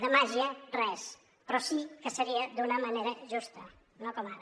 de màgia res però sí que seria d’una manera justa no com ara